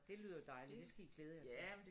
Det lyder dejligt det skal i glæde jer til